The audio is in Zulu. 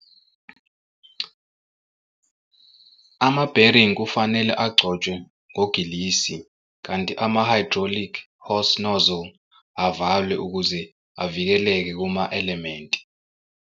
Ama-bearing kufanele agcotshwe ngogilisi kanti ama-hydraulic hose nozzle avalwe ukuze avikeleke kuma-elementi.